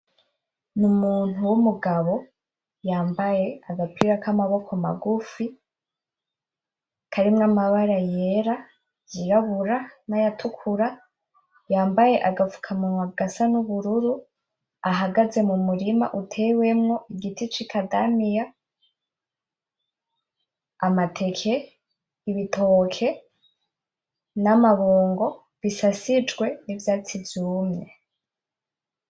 Numuntu w'umugabo yambaye agapira kamaboko magufi karimwo amabara yera ; yirabura nayatukura yambaye agapfukamunwa gasa nubururu ahagaze mumurima utewemwo igiti c'ikadamiya ; amateke ; ibitoke n'amabungo bisasijwe nivyatsi vyumye.